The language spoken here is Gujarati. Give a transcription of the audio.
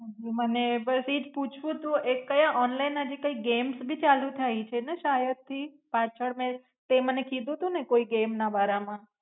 હું મને બસ એ જ પૂછવું તું એ કયા ઓનલાઇન માં જે કઈ games પણ ચાલુ થાય છે ને શાયદ થી પાછળ મેં તે મને કીધું તુ ને કોઈ games ના બારામાં.